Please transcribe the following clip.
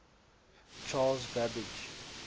charles babbage